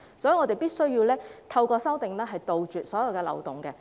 所以，我們必須透過修正案杜絕所有漏洞。